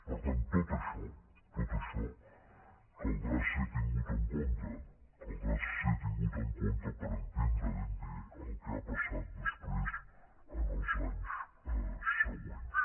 per tant tot això tot això caldrà ser tingut en compte caldrà ser tingut en compte per entendre ben bé el que ha passat després en els anys següents